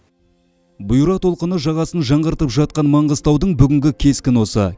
бұйра толқыны жағасын жаңғыртып жатқан маңғыстаудың бүгінгі кескіні осы